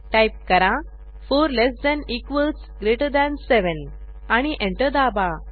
type करा 4 less than equals greater than 7 आणि enter दाबा